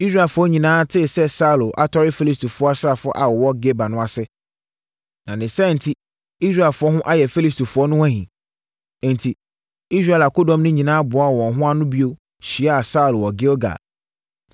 Israelfoɔ nyinaa tee sɛ Saulo atɔre Filistifoɔ asraafoɔ a wɔwɔ Geba no ase, na ne saa enti, Israelfoɔ ho ayɛ Filistifoɔ no ahi. Enti, Israel akodɔm no nyinaa boaa wɔn ho ano bio hyiaa Saulo wɔ Gilgal.